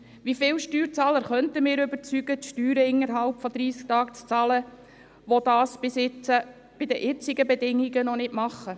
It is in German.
Wie viele Steuerzahler könnten überzeugt werden, die Steuern innerhalb von 30 Tagen zu bezahlen, die das unter den bisherigen Bedingungen nicht tun?